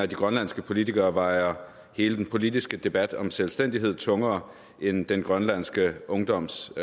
de grønlandske politikere vejer hele den politiske debat om selvstændighed tungere end den grønlandske ungdoms